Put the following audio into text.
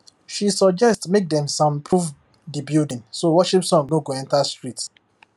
she suggest make dem soundproof the building so worship song no go enter street